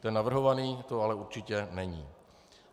Ten navrhovaný to ale určitě není.